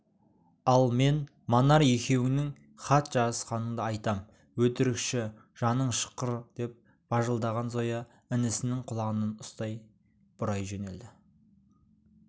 ал мен манар екеуіңнің хат жазысқаныңды айтам өтірікші жаның шыққыр деп бажылдаған зоя інісінің құлағынан ұстап бұрай жөнелді